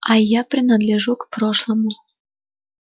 а я принадлежу к прошлому